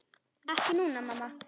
Ekki núna, mamma.